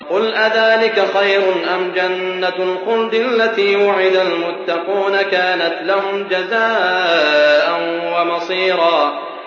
قُلْ أَذَٰلِكَ خَيْرٌ أَمْ جَنَّةُ الْخُلْدِ الَّتِي وُعِدَ الْمُتَّقُونَ ۚ كَانَتْ لَهُمْ جَزَاءً وَمَصِيرًا